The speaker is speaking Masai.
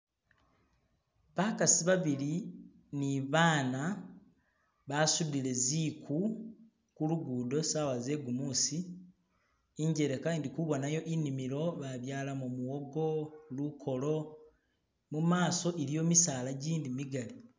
bakasi babili nibana basudile ziku kulugudo sawa zegumusi injeleka indikubonayo inimilo babyalamo muwogo lukolo mumaso iliyo misaala jindi migali